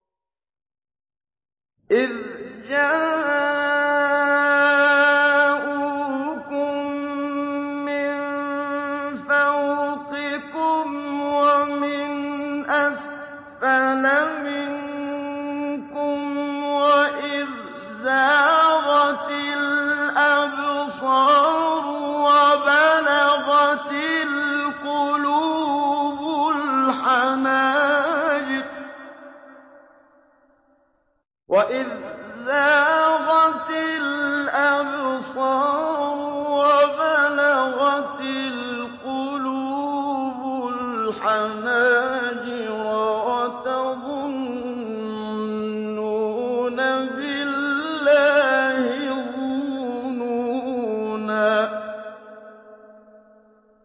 إِذْ جَاءُوكُم مِّن فَوْقِكُمْ وَمِنْ أَسْفَلَ مِنكُمْ وَإِذْ زَاغَتِ الْأَبْصَارُ وَبَلَغَتِ الْقُلُوبُ الْحَنَاجِرَ وَتَظُنُّونَ بِاللَّهِ الظُّنُونَا